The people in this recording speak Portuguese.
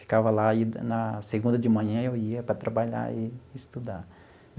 Ficava lá e, na segunda de manhã, eu ia para trabalhar e estudar.